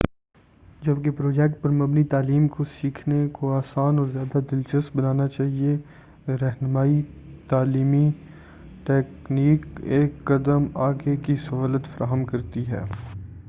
جبکہ پروجیکٹ پر مبنی تعلیم کو سیکھنے کو آسان اور زیادہ دلچسپ بنانا چاہیئے، رہنما‏ئی تعلیمی ٹیکنیک ایک قدم آگے کی سہولت فراہم کرتی ہے۔